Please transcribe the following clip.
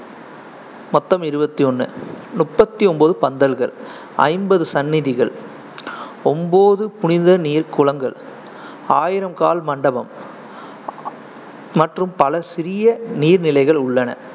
மொத்தம் இருவத்தி ஒண்ணு, முப்பத்தி ஒன்பது பந்தல்கள், ஐம்பது சன்னிதிகள், ஒன்பது புனித நீர் குளங்கள், ஆயிரம் கால் மண்டபம் மற்றும் பல சிறிய நீர்நிலைகள் உள்ளன.